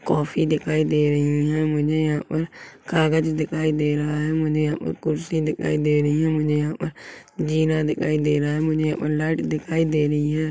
काफ़ी दिखाई दे रही है मुझे यहाँ पर कागज दिखाई दे रहा है मुझे यहाँ पर कुर्सी दिखाई दे रही है मुझे यहाँ पर जीना दिखाई दे रहा है मुझे यहाँ पर लाइट दिखाई दे रही है।